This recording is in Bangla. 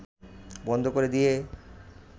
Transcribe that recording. বন্ধ করে দিয়ে